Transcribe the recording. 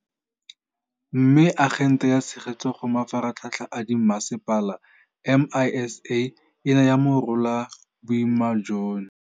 Mme, Agente ya Tshegetso go Mafaratlhatlha a Dimmasepala, MISA, e ne ya morola boima jono.